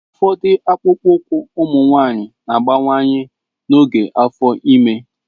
Ụfọdụ akpụkpọ ụkwụ ụmụ nwanyị na-abawanye n'oge afo ime.